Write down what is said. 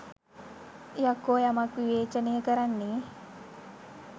යකෝ යමක් විවේචනය කරන්නේ